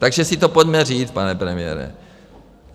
Takže si to pojďme říct, pane premiére.